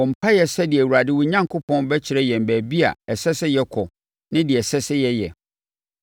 Bɔ mpaeɛ sɛdeɛ Awurade wo Onyankopɔn bɛkyerɛ yɛn baabi a ɛsɛ sɛ yɛkɔ ne deɛ ɛsɛ sɛ yɛyɛ.”